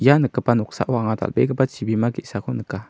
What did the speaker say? ia nikgipa noksao anga dal·begipa chibima ge·sako nika.